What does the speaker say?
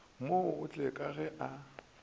mo otle ka ge a